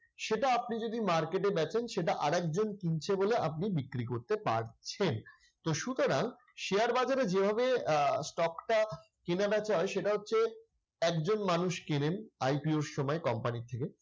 সেটা আপনি যদি market বেচেন সেটা আরেকজন কিনছে বলে আপনি বিক্রি করতে পারছেন। তো সুতরাং শেয়ার বাজারে যেভাবে আহ stock টা কেনা-বেচা হয় সেটা হচ্ছে একজন মানুষ কেনেন IPO র সময় company র থেকে